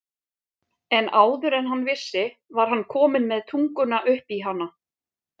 En áður en hann vissi var hann kominn með tunguna upp í hana.